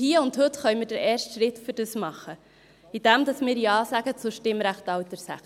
Hier und heute können wir den ersten Schritt dafür tun, indem wir Ja sagen zum Stimmrechtsalter 16.